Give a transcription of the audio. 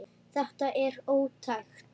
Þetta er ótækt.